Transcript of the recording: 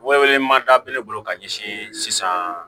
Wele wele mada bɛ ne bolo ka ɲɛsin sisan